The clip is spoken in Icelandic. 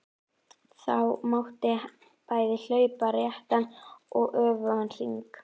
Það mátti bæði hlaupa réttan og öfugan hring.